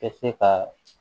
Tɛ se ka